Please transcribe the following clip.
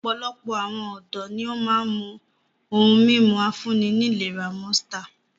Ọ̀pọ̀lọpọ̀ awon ọ̀dọ́ ni ó máa ń mu ohun-mímu afúnni-nílera Monster.